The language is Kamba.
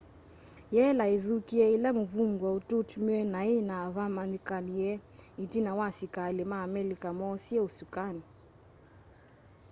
yela ithukie ila muvungwa ututmiiwe nai na vamanyikanie itina wa asikali ma amelika moosie usukani